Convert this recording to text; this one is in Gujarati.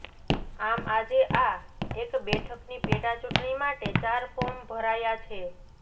આમ આજે આ એક બેઠકની પેટા ચુંટણી માટે ચાર ફોર્મ ભરાયા છે